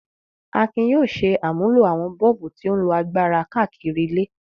Akin yóò ṣe àmúlò àwọn bọ́ọ̀bù tí ó ń lo agbára káàkiri ilé.